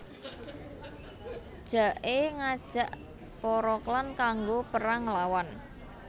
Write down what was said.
Jake ngajak para klan kanggo perang nglawan